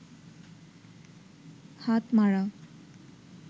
হাতমারা